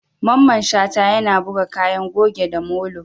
Mamman Shata, yana buga kayan goge da molo.